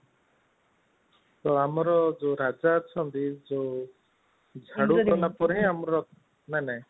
ତ ଆମର ଯୋଉ ରାଜା ଅଚଟି ଯୋଉ ଝାଡୁ କଲା ପରେ ଆମର ନାଇଁ ନାଇଁ